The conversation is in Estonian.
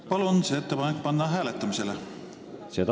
Palun see ettepanek panna hääletamisele!